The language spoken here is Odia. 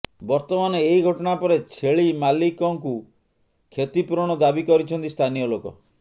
ବର୍ତ୍ତମାନ ଏହି ଘଟଣା ପରେ ଛେଳିମାଲିକଙ୍କୁ କ୍ଷତିପୂରଣ ଦାବି କରିଛନ୍ତି ସ୍ଥାନୀୟ ଲୋକ